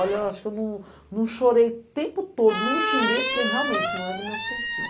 Olha, eu acho que eu não não chorei o tempo todo, não xinguei, porque realmente não é do meu feitio.